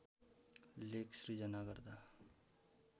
लेख सृजना गर्दा